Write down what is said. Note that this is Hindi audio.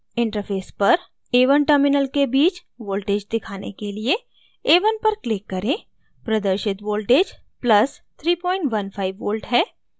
interface पर a1 terminal के बीच voltage दिखाने के लिए a1 पर click करें प्रदर्शित voltage + 315 v है